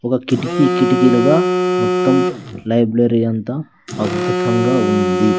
ఒగ కిటికీ కిటికీలుగా మొత్తం లైబ్లరీ అంతా అద్భుతంగా ఉంది.